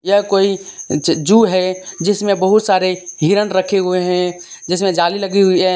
यह कोई जु है जिसमें बहुत सारे हिरन रखे हुए है जिसमें जाली लगी हुई है।